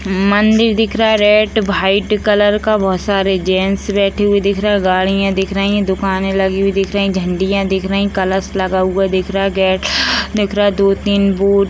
मंदिर दिख रहा है रेड वाइट कलर का बहोत सारे जेन्स बैठे हुए दिख रहे हैं। गाँड़ियाँ दिख रही हैं दुकाने लगे हुए दिख रही हैं झंडियाँ दिख रही हैं कलश लगा हुआ दिख रहा है गेट लगा हुआ दिख रहा है दो तीन --